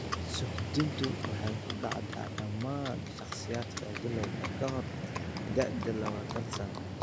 Suuxdintu waxay ku dhacdaa dhammaan shakhsiyaadka bilawga ka hor da'da labatan sano.